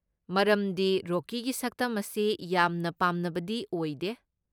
ꯃꯔꯝꯗꯤ ꯔꯣꯀꯤꯒꯤ ꯁꯛꯇꯝ ꯑꯁꯤ ꯌꯥꯝꯅ ꯄꯥꯝꯅꯕꯗꯤ ꯑꯣꯏꯗꯦ꯫